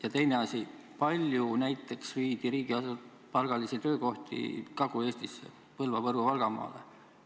Ja teine küsimus: kui palju näiteks viidi riigipalgalisi töökohti Kagu-Eestisse, Põlva-,Võru-,Valgamaale?